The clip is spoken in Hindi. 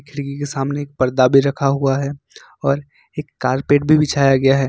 खिड़की के सामने पर्दा भी रखा हुआ है और एक कारपेट भी बिछाया गया है।